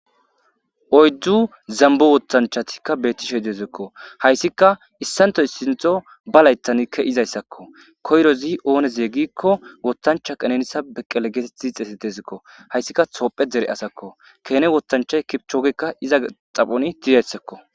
oyddu zambu wottanchatikka bettishe deezekko hayssika issantoy sintho ba laythan ke izayssakko koyrozi ooneze gikko wotancha qanenisa beqqele geetet diixesi deezikko hayssika soophe dere asakko kene wotanchay kipchoogekka iza xaphoni didayssakko